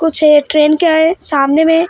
कुछ ये ट्रेन क्या है सामने में--